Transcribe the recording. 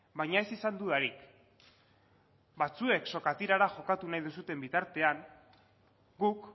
baina ez izan dudarik batzuek sokatirara jokatu nahi duzuen bitartean guk